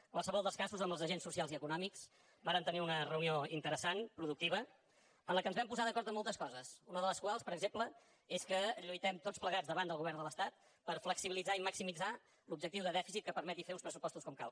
en qualsevol dels casos amb els agents socials i econòmics vàrem tenir una reunió interessant productiva en què ens vam posar d’acord en moltes coses una de les quals per exemple és que lluitem tots plegats davant del govern de l’estat per flexibilitzar i maximitzar l’objectiu de dèficit que permeti fer uns pressupostos com cal